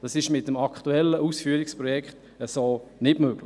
Dies ist mit dem aktuellen Ausführungsprojekt so nicht möglich.